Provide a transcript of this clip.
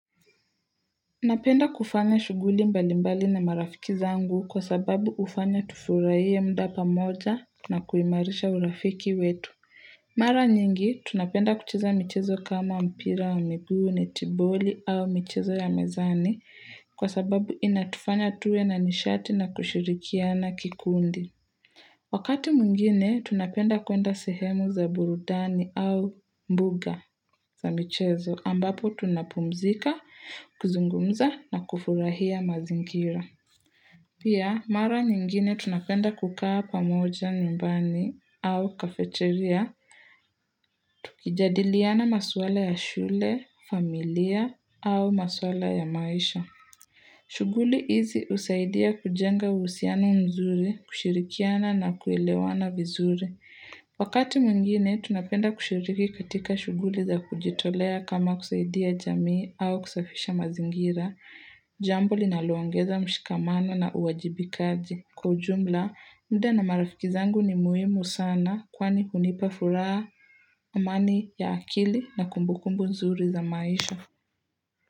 Napenda kufanya shuguli mbali mbali na marafiki zangu kwa sababu ufanya tufuraie mda pamoja na kuimarisha urafiki wetu. Mara nyingi, tunapenda kuchiza michezo kama mpira wa miguu, netiboli au michezo ya mezani kwa sababu inatufanya tuwe na nishati na kushirikiana kikundi. Wakati muingine, tunapenda kuenda sehemu za burudani au mbuga za michezo ambapo tunapumzika, kuzungumza na kufurahia mazingira. Pia, mara nyingine tunapenda kukaa pamoja nyumbani au kafeterya, tukijadiliana maswala ya shule, familia au maswala ya maisha. Shughuli hizi usaidia kujenga usiano mzuri, kushirikiana na kuelewana vizuri. Wakati mungine, tunapenda kushiriki katika shuguli za kujitolea kama kusaidia jamii au kusafisha mazingira. Jambo linaluangeza mshikamano na uwajibikaji. Kwa ujumla, mda na marafiki zangu ni muhimu sana kwani unipa furaa, amani ya akili na kumbukumbu mzuri za maisha.